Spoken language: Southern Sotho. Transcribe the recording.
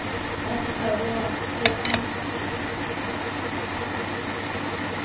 ha di oroha o a